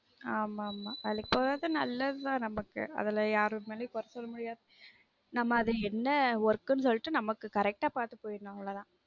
ஆமா மா வேலைக்கு போகாதது நல்லது தான் அதுல யார் மேலயும் குற சொல்ல முடியாது அது என்ன work னு சொல்லிட்டு நமக்கு correct அ பார்த்து போய்டனும்